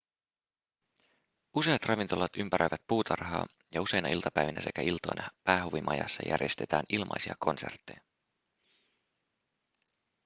useat ravintolat ympäröivät puutarhaa ja useina iltapäivinä sekä iltoina päähuvimajassa järjestetään ilmaisia konsertteja